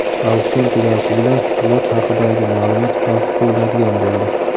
Auksion tugashi bilan lot haqidagi ma’lumot yopib qo‘yiladigan bo‘ldi.